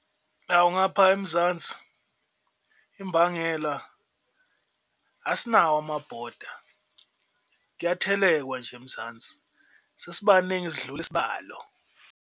Hhawu ngapha eMzansi imbangela asinawo amabhoda kuyathelekwa nje eMzansi, sesibaningi sidlula isibalo.